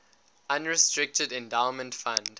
unrestricted endowment fund